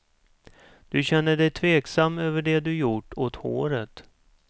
Du känner dig tveksam över det du gjort åt håret.